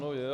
Ano, je.